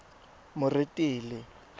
moretele